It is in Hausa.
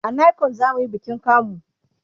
a nicon zamuyi bikin kamu